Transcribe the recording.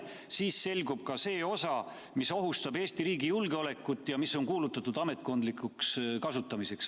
Siis selgub ka see osa, mis ohustab Eesti riigi julgeolekut ja mis on kuulutatud ametkondlikuks kasutamiseks.